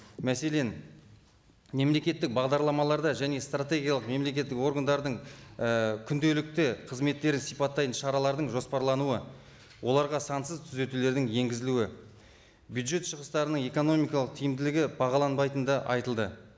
мәселен мемлекеттік бағдарламаларда және стратегиялық мемлекеттік органдардың і күнделікті қызметтерін сипаттайтын шаралардың жоспарлануы оларға сансыз түзетулердің енгізілуі бюджет шығыстарының экономикалық тиімділігі бағаланбайтыны да айтылды